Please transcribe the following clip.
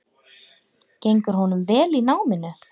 Gengur honum vel í náminu?